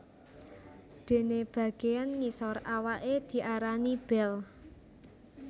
Dene bageyan ngisor awaké diarani bel